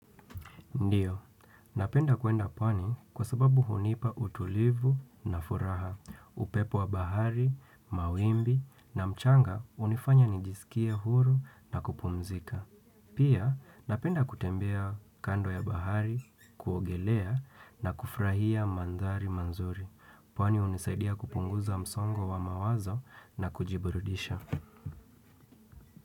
Ndio, napenda kuenda pwani kwa sababu hunipa utulivu na furaha, upepo wa bahari, mawimbi na mchanga hunifanya nijisikie huru na kupumzika. Pia, napenda kutembea kando ya bahari, kuogelea na kufurahia mandhari mazuri. Pwani hunisaidia kupunguza msongo wa mawazo na kujiburudisha.